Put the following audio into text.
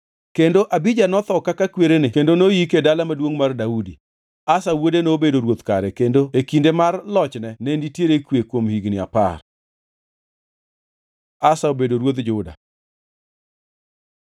Kendo Abija notho kaka kwerene kendo noyike e Dala Maduongʼ mar Daudi. Asa wuode nobedo ruoth kare kendo e kinde mar lochne ne nitiere kwe kuom higni apar. Asa obedo ruodh Juda